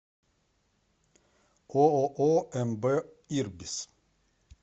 ооо мб ирбис